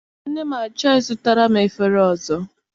Nne m achọghị I zụtara m efere ọzọ.